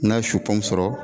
N ka sɔrɔ